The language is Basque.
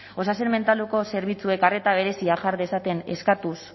osasun mentaleko zerbitzuek arreta berezia jar dezaten eskatuz